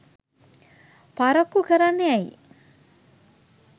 පරක්කු කරන්නේ ඇයි